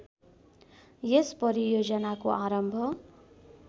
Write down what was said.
यस परियोजनाको आरम्भ